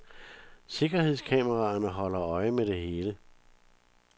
Sikkerhedskameraerne holder øje med det hele.